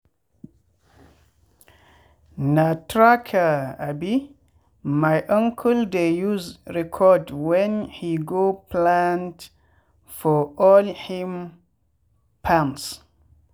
na tracker um my uncle dey use record when he go plant for all him farms.